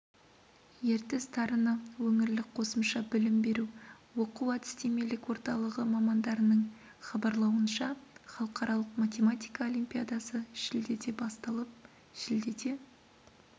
ертіс дарыны өңірлік қосымша білім беру оқу-әдістемелік орталығы мамандарының хабарлауынша халықаралық математика олимпиадасы шілдеде басталып шілдеде